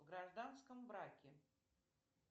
в гражданском браке